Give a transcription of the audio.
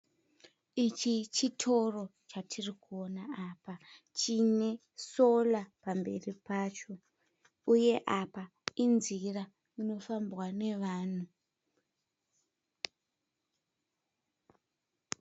Ichi chitoro chatiri kuona apa chine solar pamberi pacho. Uye apa inzira inofambwa nevanhu.